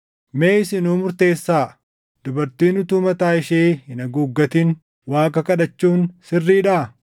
Mee isinuu murteessaa; dubartiin utuu mataa ishee hin haguuggatin Waaqa kadhachuun sirriidhaa?